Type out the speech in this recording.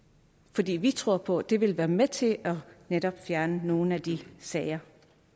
fordi vi tror på at det vil være med til netop at fjerne nogle af de sager